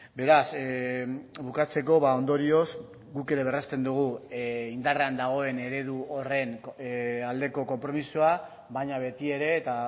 beraz bukatzeko ondorioz guk ere berresten dugu indarrean dagoen eredu horren aldeko konpromisoa baina beti ere eta